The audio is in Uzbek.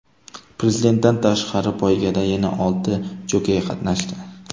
Prezidentdan tashqari, poygada yana olti jokey qatnashdi.